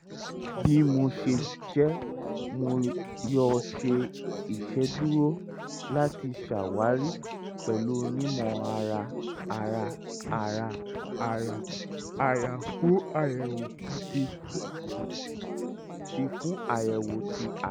bi o ṣe jẹ mo yoo ṣe iṣeduro lati ṣawari pẹlu onimọ-ara-ara-ara-ara-ara fun ayẹwo ti fun ayẹwo ti ara